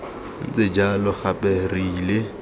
ntse jalo gape re ile